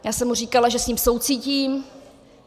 Já jsem mu říkala, že s ním soucítím.